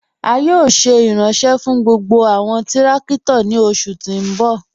A yóò ṣé iranṣẹ̀ fún gbogbo awọn tìrakito ni oṣù ti n bọ̀.